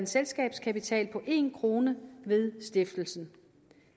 selskabskapital på en kroner ved stiftelsen